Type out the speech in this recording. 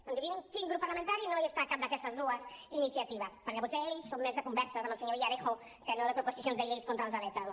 endevinin quin grup parlamentari no està en cap d’aquestes dues iniciatives perquè potser ells són més de converses amb el senyor villarejo que no de proposicions de llei contra els alertadors